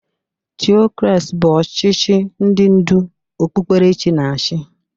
Tiokrasị bụ ọchichị ndị ndu okpukperechi na-achị.